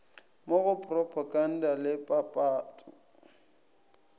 mo go propaganda le papatpo